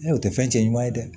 o tɛ fɛn cɛ ɲuman ye dɛ